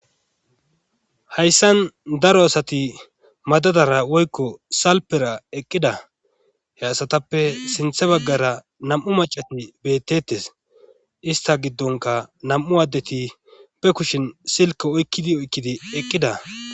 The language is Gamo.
hayssan daro asati madadara woykko salpera eqqida he asatappe sinthe baggara nam7u macatm bettettes ista giddonka nam7u addeti be kushin silka oykkidi oykkidi eqqida